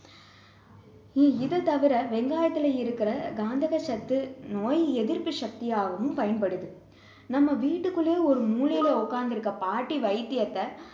இ~ இது தவிர வெங்காயத்துல இருக்கிற காந்தக சத்து நோய் எதிர்ப்பு சக்தியாகவும் பயன்படுது நம்ம வீட்டுக்குள்ளையே ஒரு மூலையில உட்கார்ந்து இருக்க பாட்டி வைத்தியத்தை